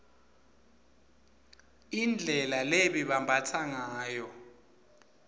indlela lebebambatsa ngayo